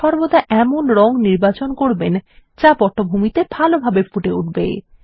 সর্বদা এমন একটি রঙ নির্বাচন করবেন যা পটভূমিতে ভালোভাবে ফুটে উঠবে